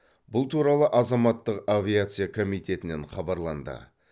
бұл туралы азаматтық авиация комитетінен хабарланды